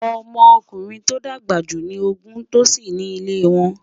ọmọ ọkùnrin tó dàgbà jù ní ògún tosí ní ilè wón